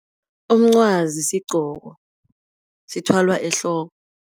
Umncwazi sigqoko sithwalwa ehloko.